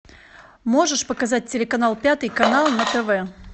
можешь показать телеканал пятый канал на тв